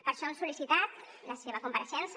per això hem sol·licitat la seva compareixença